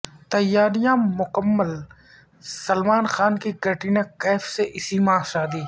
تیاریاں مکمل سلمان خان کی کیٹرینہ کیف سے اسی ماہ شادی